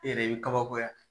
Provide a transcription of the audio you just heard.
E yɛrɛ i bi kabakoya.